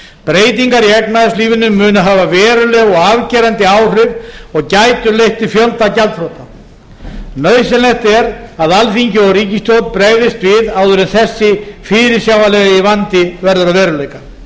breytingar í efnahagslífinu munu hafa mikil og afgerandi áhrif og gæti leitt til fjölda gjaldþrota nauðsynlegt er að alþingi og ríkisstjórn bregðist við áður en þessi fyrirsjáanlegi vandi verður